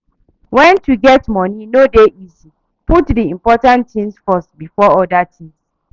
When to get money no dey easy put di important things first before oda things